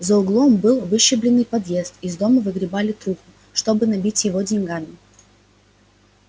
за углом был выщербленный подъезд из дома выгребали труху чтобы набить его деньгами